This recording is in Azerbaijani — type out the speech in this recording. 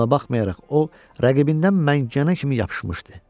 Buna baxmayaraq, o rəqibindən məncanə kimi yapışmışdı.